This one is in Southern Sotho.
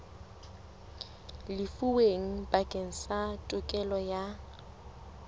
lefuweng bakeng sa tokelo ya